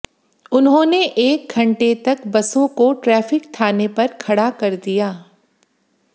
उन्होंने एक घंटे तक बसों को ट्रैफिक थाने पर खड़ा कर दिया